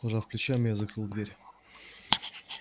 пожав плечами я закрыл дверь